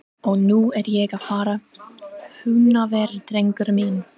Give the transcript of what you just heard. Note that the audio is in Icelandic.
Og nú er ég að fara í Húnaver, drengur minn.